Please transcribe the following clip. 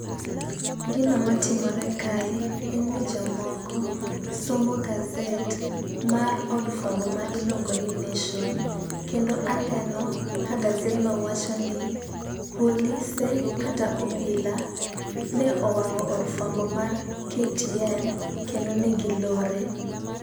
Gino matimore kae en ni jomoko somo gazet mar od fwambo ma iluongo ni Nation. Kendo aneno ka gazedno wacho ni polise kata obila ne owang'o od fwambo mar KTN kendo ne gilore.